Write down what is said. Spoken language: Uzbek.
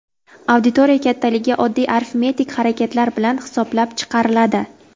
Auditoriya kattaligi oddiy arifmetik harakatlar bilan hisoblab chiqariladi.